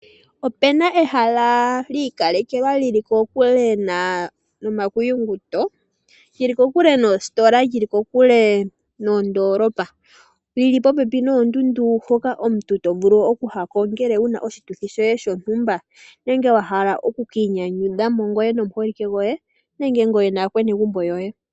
Opu na ehala lyiikalekelwa lyili kokule nomakuyuto lyili kokule noositola lyili, kokule nondoolopa lili popepi noondundu. Mpoka omuntu to vulu okuya uuna wuna oshituthi shoye shontumba nenge wahala wukiinyanyudhe nomuholike goye nenge naanegumbo lyoye.